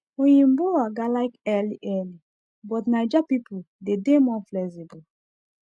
oyinbo oga like early early but naija people dey dey more flexible